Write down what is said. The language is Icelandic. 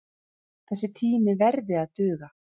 Þessi tími verði að duga.